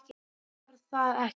Var það ekki?